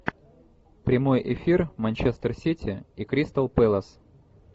прямой эфир манчестер сити и кристал пэлас